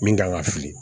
Min kan ka fili